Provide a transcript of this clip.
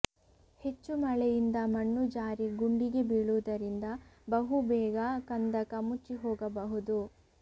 ಹೆಚ್ಚು ಮಳೆಯಿಂದ ಮಣ್ಣು ಜಾರಿ ಗುಂಡಿಗೆ ಬೀಳುವುದರಿಂದ ಬಹುಬೇಗ ಕಂದಕ ಮುಚ್ಚಿಹೋಗಬಹುದು